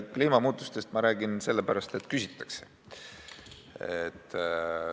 Kliimamuutustest räägin ma sellepärast, et küsitakse.